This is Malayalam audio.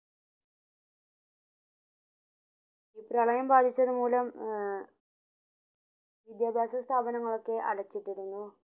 ഈ പ്രളയം ബാധിച്ചത് മൂലം ആഹ് വിദ്യാഭ്യാസ സ്ഥാബാംങ്ങളൊക്കെ അടച്ചിട്ടിരുന്നു